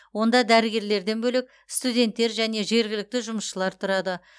онда дәрігерлерден бөлек студенттер және жергілікті жұмысшылар тұрады